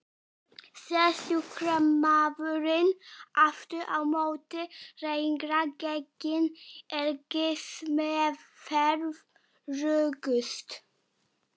Sé sjúkdómurinn aftur á móti lengra genginn er geislameðferð öruggust.